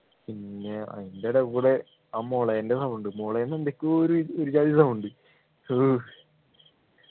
പിന്നെ അതിനിടകൂടെ ആ മുളൻ്റെ sound മുളന്നു എന്തൊക്കൊ ഒരു ഒരു ജാതി sound